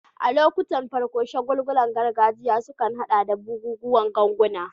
A lokuttan farko, shagulgulan gargajiya sukan haɗa da bugun ganguna.